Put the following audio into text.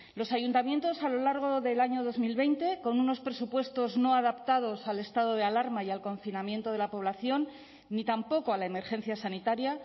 los ayuntamientos a lo largo del año dos mil veinte con unos presupuestos no adaptados al estado de alarma y al confinamiento de la población ni tampoco a la emergencia sanitaria